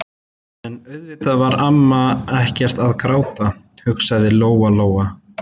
Magnús var ákafur stuðningsmaður Jóns Sigurðssonar á stúdentsárum í Kaupmannahöfn.